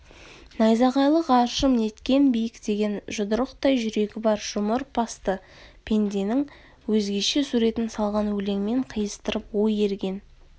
найзағайлы ғарышым неткен биік деген жұдырықтай жүрегі бар жұмыр басты пенденің өзгеше суретін салған өлеңмен қиыстырып ой ерген